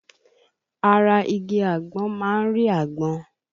Ara igi àgbọn má ń rí àgbọn